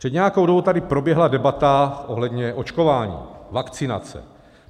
Před nějakou dobou tady proběhla debata ohledně očkování, vakcinace.